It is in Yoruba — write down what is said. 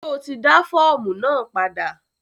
Ṣo ti dá fọ́ọ̀mù náà padà?